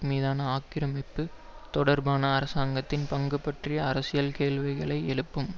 மீதான ஆக்கிரமிப்பு தொடர்பான அரசாங்கத்தின் பங்கு பற்றிய அரசியல் கேள்விகளை எழுப்பும்